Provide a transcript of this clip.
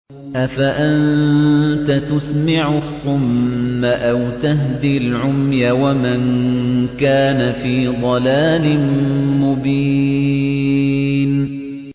أَفَأَنتَ تُسْمِعُ الصُّمَّ أَوْ تَهْدِي الْعُمْيَ وَمَن كَانَ فِي ضَلَالٍ مُّبِينٍ